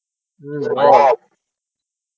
হূ বল